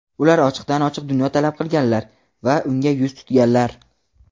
Ular ochiqdan-ochiq dunyo talab qilganlar va unga yuz tutganlar.